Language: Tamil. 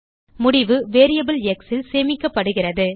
முடிவு வேரியபிள் எக்ஸ் ல் சேமிக்கப்படுகிறது